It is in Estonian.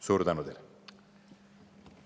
Suur tänu teile!